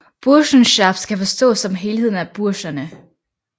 Burschenschaft skal forstås som helheden af burscherne